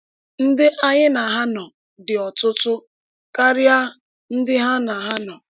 “Ndí ányí na hà nọ dị́ ọ̀tụ̀tụ̀ káríá ndí hà na hà nọ.”